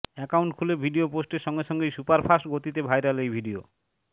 account খুলে video পোস্টের সঙ্গে সঙ্গেই সুপারফাস্ট গতিতে ভাইরাল এই ভিডিও